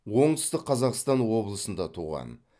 оңтүстік қазақстан облысында туған